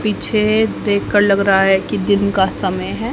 पीछे देख कर लग रहा है कि दिन का समय है।